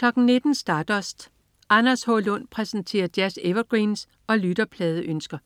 19.00 Stardust. Anders H. Lund præsenterer jazz-evergreens og lytterpladeønsker